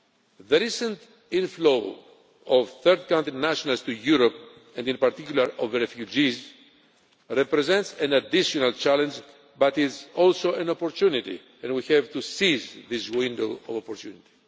The recent inflow of third country nationals to Europe, and in particular of refugees, represents an additional challenge but is also an opportunity and we have to seize this window of opportunity.